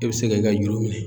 E bɛ se ka i ka juru minɛ